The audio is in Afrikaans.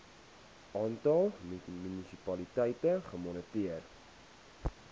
aantal munisipaliteite gemoniteer